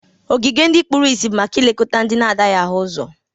Ogige ndị kpụrụisi bụ maka ilekọta ndị na-adaghị ahụ ụzọ.